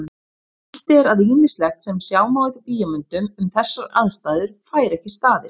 Víst er að ýmislegt sem sjá má í bíómyndum um þessar aðstæður fær ekki staðist.